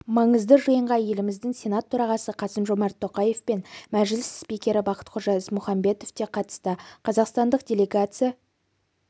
маңызды жиынға еліміздің сенат төрағасы қасым-жомарт тоқаев пен мжіліс спикері бақтықожа ізмұхамбетов те қатысты қазақстандық делегация